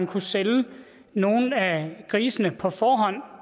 kunne sælge nogle af grisene på forhånd